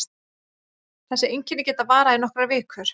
Þessi einkenni geta varað í nokkrar vikur.